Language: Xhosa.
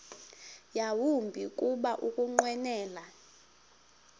yawumbi kuba ukunqwenela